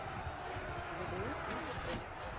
гбу мфц